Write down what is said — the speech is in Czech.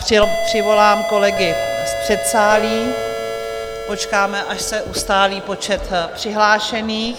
Přivolám kolegy z předsálí, počkáme, až se ustálí počet přihlášených.